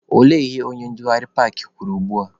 Olee ihe onye ndugharị paakị kwuru ugbua?